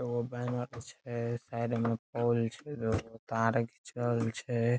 औ बाये मा कुछ है साइड में पौल छे दुगो तार खीचल छे।